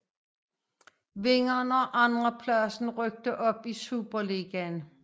Vinderen og andenpladsen rykkede op i Superligaen